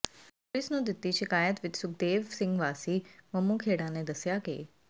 ਪੁਲਸ ਨੂੰੂ ਦਿੱਤੀ ਸ਼ਿਕਾਇਤ ਵਿਚ ਸੁਖਦੇਵ ਸਿੰਘ ਵਾਸੀ ਮੰਮੂਖੇੜਾ ਨੇ ਦੱਸਿਆ ਕਿ